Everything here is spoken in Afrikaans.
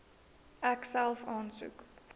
ek self aansoek